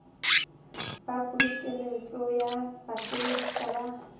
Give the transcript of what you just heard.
ba pokeletso ya basebedisi ba